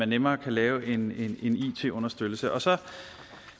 nemmere kan lave en it understøttelse og så